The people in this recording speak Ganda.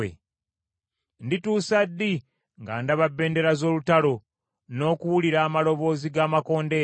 Ndituusa ddi nga ndaba bbendera z’olutalo n’okuwulira amaloboozi g’amakondeere?